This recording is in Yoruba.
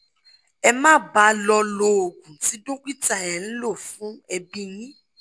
ẹ máa bá a lọ lo oògùn tí dókítà ẹ̀ ń lò fún ẹ̀bí yín